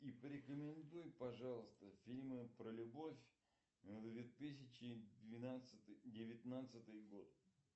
и порекомендуй пожалуйста фильмы про любовь две тысячи двенадцатый девятнадцатый год